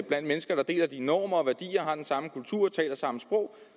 blandt mennesker der deler dine normer og værdier og har den samme kultur og taler samme sprog